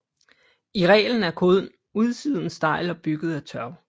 I reglen er kun udsiden stejl og bygget af tørv